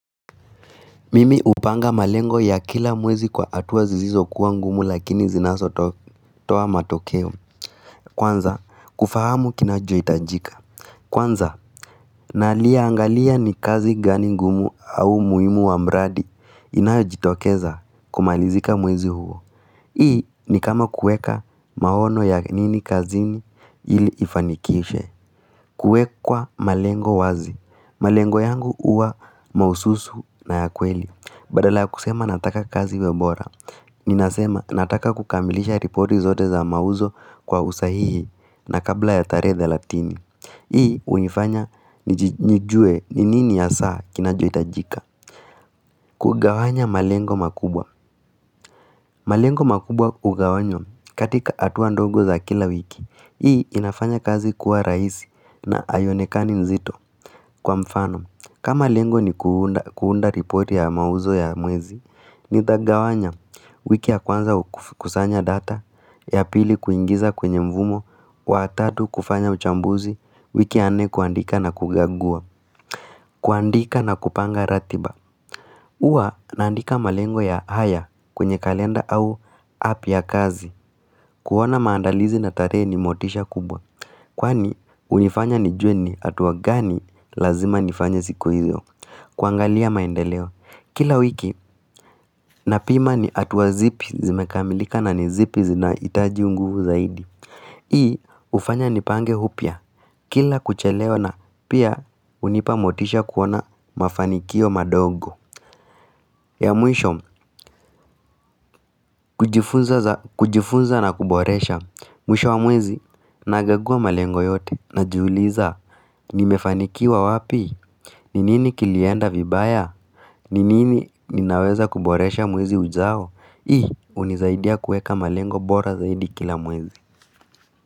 Mimi upanga malengo ya kila mwezi kwa hatuwa zizizo kuwa ngumu lakini zinazotoa matokeo. Kwanza, kufahamu kinacho itajika. Kwanza, naliaangalia ni kazi gani ngumu au muimu wa mradi inayo jitokeza kumalizika mwezi huo. Hii ni kama kueka maono ya nini kazini ili ifanikishe. Kuekwa malengo wazi. Malengo yangu uwa maususu na ya kweli. Badala ya kusema nataka kazi iwe bora Ninasema nataka kukambilisha ripoti zote za mauzo kwa usahihi na kabla ya tarehe thelatini Hii unifanya njijue ni nini hasaa kinajo itajika kugawanya malengo makubwa malengo makubwa ugawanyo katika hatua ndongo za kila wiki Hii inafanya kazi kuwa raisi na aiyonekani nzito kwa mfano kama lengo ni kuunda ripoti ya mauzo ya mwezi Nithagawanya wiki ya kwanza kusanya data ya pili kuingiza kwenye mvumo wa tatu kufanya mchambuzi wiki a nne kuandika na kugagua kuandika na kupanga ratiba Uwa naandika malengo ya haya kwenye kalenda au app ya kazi kuwana maandalizi na tarehe ni motisha kubwa Kwani unifanya nijueni hatuwa gani lazima nifanya ziku hizyo kwangalia maendeleo Kila wiki na pima ni atuwa zipi zimekamilika na nizipi zina itaji unguvu zaidi Hii ufanya nipange hupia Kila kuchelewa na pia unipamotisha kuona mafanikio madogo ya mwisho kujifunza na kuboresha Mwisho wa mwezi na gagua malengo yote Najuliza nimefanikiwa wapi? Ninini kilienda vibaya? Ninini ninaweza kuboresha mwezi ujao? Hii unizaidia kueka malengo bora zaidi kila mwezi.